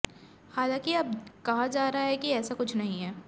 हालांकि अब कहा जा रहा है कि ऐसा कुछ नहीं है